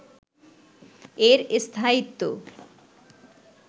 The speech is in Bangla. এর স্থায়িত্ব